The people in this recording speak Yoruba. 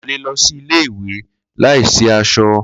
Ko le lọ si ile-iwe laisi aṣọ